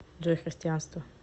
джой христианство